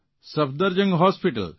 Safdarjung hospital